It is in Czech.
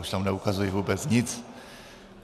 Už tam neukazují vůbec nic.